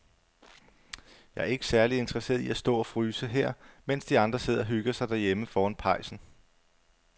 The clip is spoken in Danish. Jeg er ikke særlig interesseret i at stå og fryse her, mens de andre sidder og hygger sig derhjemme foran pejsen.